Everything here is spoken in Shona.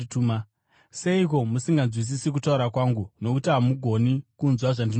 Seiko musinganzwisisi kutaura kwangu? Nokuti hamugoni kunzwa zvandinotaura.